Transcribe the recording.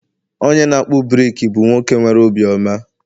onye na-akpụ brik bụ nwoke nwere obiọma